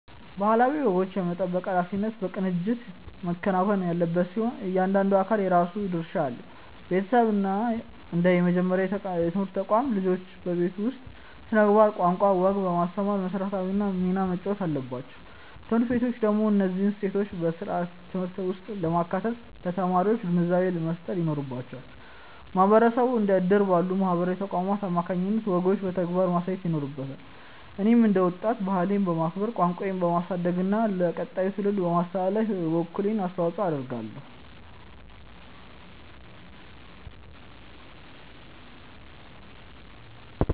ባህላዊ ወጎችን የመጠበቅ ኃላፊነት በቅንጅት መከናወን ያለበት ሲሆን፣ እያንዳንዱ አካል የራሱ ድርሻ አለው። ቤተሰብ እንደ መጀመሪያው የትምህርት ተቋም፣ ልጆችን በቤት ውስጥ ስነ-ምግባር፣ ቋንቋና ወግ በማስተማር መሰረታዊውን ሚና መጫወት አለበት። ትምህርት ቤቶች ደግሞ እነዚህን እሴቶች በስርዓተ-ትምህርት ውስጥ በማካተት ለተማሪዎች ግንዛቤ መፍጠር ይኖርባቸዋል። ማህበረሰቡ እንደ እድር ባሉ ማህበራዊ ተቋማት አማካኝነት ወጎችን በተግባር ማሳየት ይኖርበታል። እኔም እንደ ወጣት፣ ባህሌን በማክበር፣ ቋንቋዬን በማሳደግና ለቀጣዩ ትውልድ በማስተላለፍ የበኩሌን አስተዋጽኦ አደርጋለሁ።